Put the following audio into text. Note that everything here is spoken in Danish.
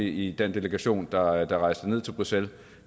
i den delegation der rejste ned til bruxelles